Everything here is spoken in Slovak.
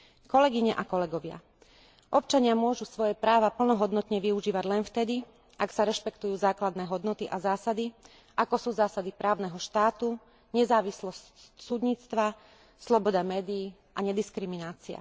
Kolegyne a kolegovia, občania môžu svoje práva plnohodnotne využívať len vtedy, ak sa rešpektujú základné hodnoty a zásady, ako sú zásady právneho štátu, nezávislosť súdnictva, sloboda médií a nediskriminácia.